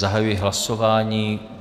Zahajuji hlasování.